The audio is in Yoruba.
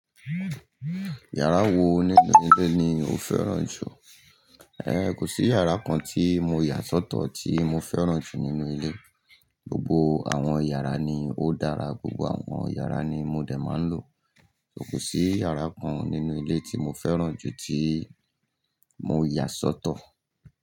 Yàrá wo nínú ilé ni o fẹ́ràn jù? Ehn, kò sí yàrá kan tí mo yà sọ́tọ̀ tí mo fẹ́ràn jù nínú ilé. Gbogbo àwọn yàrá ni ó dára, gbogbo àwọn yàrá ni mo dè máa ń lò. Kò sí yàrá kan nínú ilé tí mo fẹ́ràn jù tí mo yà sọ́tọ̀.